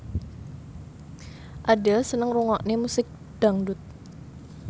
Adele seneng ngrungokne musik dangdut